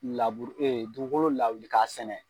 dugukolo lawili k'a sɛnɛ